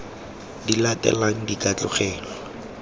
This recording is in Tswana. di latelang di ka tlogelwa